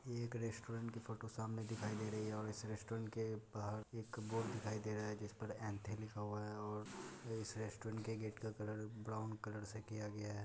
ये एक रेस्टोरेंट की फोटो सामने दिखाई दे रही है और इस रेस्टोरेंट के बाहर एक बोर्ड दिखाई दे रहा है जिस पर ऐंठे लिखा हुआ है और इस रेस्टोरेंट के गेट का कलर ब्राउन कलर से किया गया है।